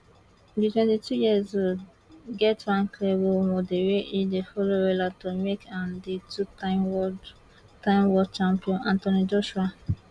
di twenty years old get one clear role model wey e dey follow wella to make am di two time world time world champion anthony joshua